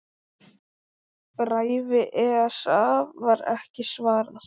Bréfi ESA var ekki svarað.